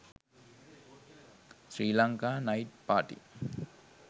srilanka night party